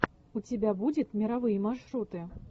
у тебя будет мировые маршруты